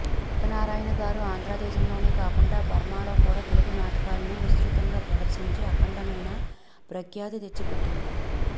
సూర్యనారాయణ గారు ఆంధ్ర దేశంలోనే కాకుండా బర్మాలో కూడా తెలుగు నాటకాలను విస్తృతంగా ప్రదర్శించి అఖండమైన ప్రఖ్యాతి తెచ్చిపెట్టింది